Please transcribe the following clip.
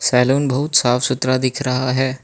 Salon बहुत साफ सुथरा दिख रहा है।